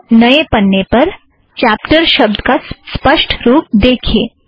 यहाँ नए पन्ने पर चॅप्टर शब्द का स्पष्ट रूप देखीए